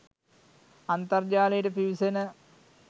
අන්තර්ජාලයට පිවිසෙන